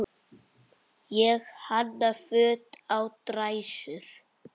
Ég hanna föt á dræsur.